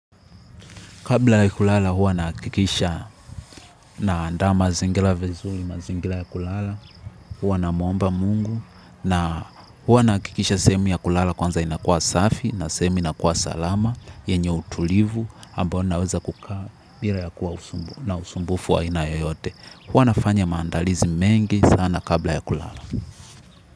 Kabla ya kulala huwa nahakikisha naanda mazingira vizuri, mazingira ya kulala, huwa namuomba mungu, na huwa nahakikisha sehemu ya kulala kwanza inakua safi, na sehemi inakua salama, yenye utulivu, ambao naweza kukaa bila ya kuwa na usumbufu wa aina yoyote. Huwa nafanya maandalizi mengi sana kabla ya kulala.